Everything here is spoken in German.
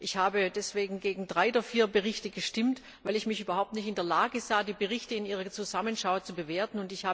Ich habe deswegen gegen drei der vier Berichte gestimmt, weil ich mich überhaupt nicht in der Lage sah, die Berichte in ihrer Zusammenschau zu bewerten.